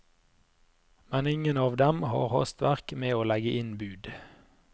Men ingen av dem har hastverk med å legge inn bud.